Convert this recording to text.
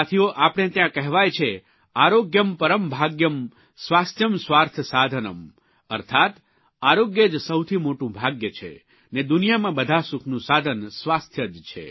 સાથીઓ આપણે ત્યાં કહેવાય છે આરોગ્યં પરમ ભાગ્યં સ્વાસ્થયં સ્વાર્થ સાધનમ્ અર્થાત્ આરોગ્ય જ સૌથી મોટું ભાગ્ય છે ને દુનિયામાં બધા સુખનું સાધન સ્વાસ્થ્ય જ છે